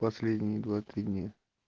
последние два три дня